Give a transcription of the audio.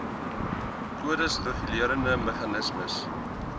kodes regulerende meganismes